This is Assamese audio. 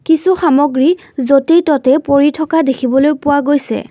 কিছু সামগ্ৰী য'তে ততে পৰি থকা দেখিবলৈও পোৱা গৈছে।